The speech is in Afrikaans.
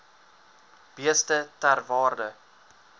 beeste ter waarde